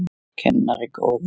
Kennari góður.